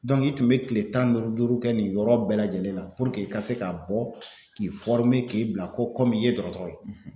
i tun bɛ kile tan duuru duuru kɛ nin yɔrɔ bɛɛ lajɛlen la i ka se ka bɔ k'i k'i bila ko kɔm'i ye dɔrɔtɔrɔ ye.